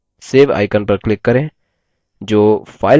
अब table को save करें